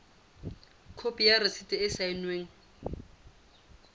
khopi ya rasiti e saennweng